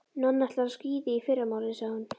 Nonni ætlar á skíði í fyrramálið, sagði hún.